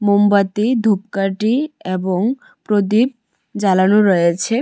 মোমবাতি ধূপকাঠি এবং প্রদীপ জ্বালানো রয়েছে।